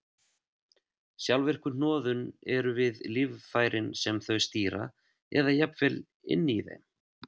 Sjálfvirku hnoðun eru við líffærin sem þau stýra eða jafnvel inni í þeim.